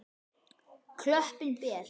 Klöppin ber.